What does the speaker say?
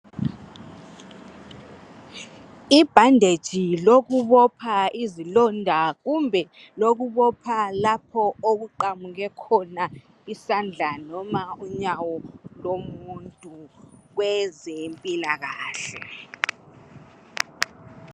I bandage lokubopha izilonda kumbe lokubopha lapho okuqamuke khona isandla noma unyawo lomuntu kwezempilakahle